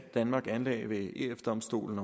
danmark anlagde ved ef domstolen